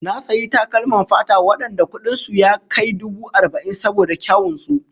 Na sayi takalman fata wadanda kudin su ya kai dubu arba'in saboda kyawun su